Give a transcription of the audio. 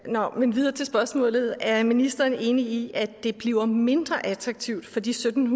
nå men videre til spørgsmålet er ministeren enig i at det bliver mindre attraktivt for de sytten